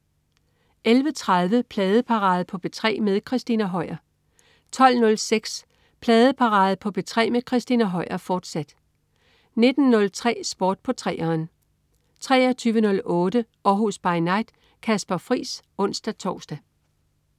11.30 Pladeparade på P3 med Christina Høier 12.06 Pladeparade på P3 med Christina Høier, fortsat 19.03 Sport på 3'eren 23.08 Århus By Night. Kasper Friis (ons-tors)